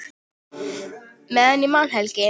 Meðan ég man, Helgi.